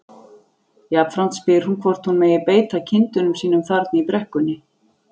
Jafnframt spyr hún hvort hún megi beita kindunum sínum þarna í brekkunni.